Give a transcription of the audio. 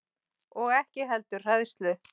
Og ekki heldur hræðslu